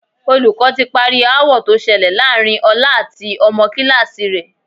Olùkọ́ ti parí aáwọ̀ tó ṣẹlẹ̀ láàárín Ọlá àti ọmọ kíláàsì rẹ̀